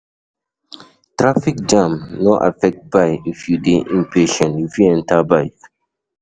Traffic jam no affect bike if you de impatient you fit enter bike